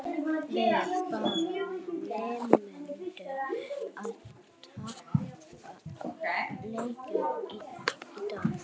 Við bara neituðum að tapa leiknum í dag.